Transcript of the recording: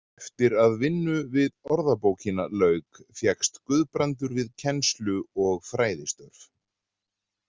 Eftir að vinnu við orðabókina lauk fékkst Guðbrandur við kennslu og fræðistörf.